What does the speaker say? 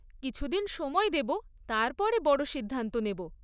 কিছুদিন সময় দেব, তারপরে বড় সিদ্ধান্ত নেব।